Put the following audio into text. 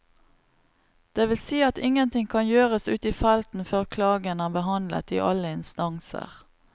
Det vil si at ingenting kan gjøres ute i felten før klagen er behandlet i alle instanser.